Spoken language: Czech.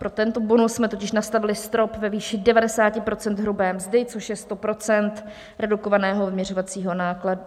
Pro tento bonus jsme totiž nastavili strop ve výši 90 % hrubé mzdy, což je 100 % redukovaného vyměřovacího nákladu.